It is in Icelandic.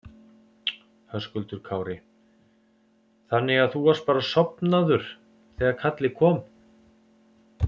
Höskuldur Kári: Þannig að þú varst bara sofnaður þegar kallið kom?